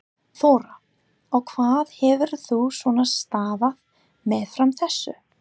Þóra: Og hvað hefur þú svona starfað meðfram þessu?